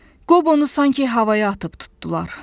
Qobonu sanki havaya atıb tutdular.